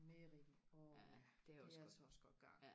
merino åh ja det er altså også godt garn